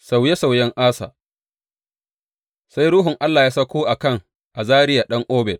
Sauye sauyen Asa Sai Ruhun Allah ya sauko a kan Azariya ɗan Oded.